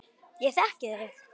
Ég þekki þig.